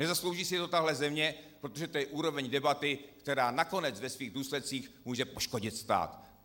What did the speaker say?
Nezaslouží si to tahle země, protože to je úroveň debaty, která nakonec ve svých důsledcích může poškodit stát.